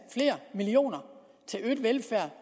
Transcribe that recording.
flere millioner til øget velfærd